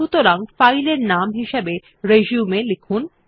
সুতরাং ফাইল এর নাম হিসেবে রিসিউম লিখুন